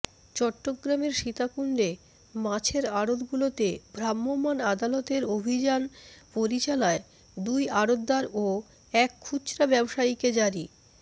চট্টগ্রামের সীতাকুণ্ডে মাছের আড়তগুলোতে ভ্রাম্যমাণ আদালতের অভিযান পরিচালায় দুই আড়তদার ও এক খুচরা ব্যবসায়ীকে জরি